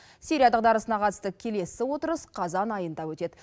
сирия дағдарысына қатысты келесі отырыс қазан айында өтеді